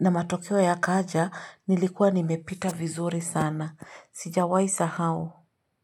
na matokeo yakaja nilikuwa nimepita vizuri sana sijawahi sahau.